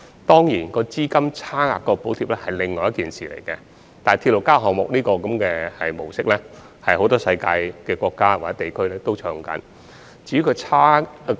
當然，"資金差額"的補貼又是另一件事，但"鐵路加物業"模式在世界很多國家或地區均有採用。